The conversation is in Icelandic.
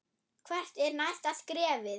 Hvert er næsta skrefið?